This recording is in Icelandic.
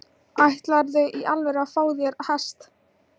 Ætlarðu í alvöru að fá þér hest?